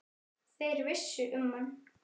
Þeir vissu um hann.